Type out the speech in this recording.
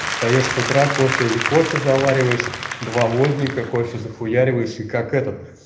встаёшь с утра кофе и кофе завариваешь два водника кофе захуяриваешь и как этот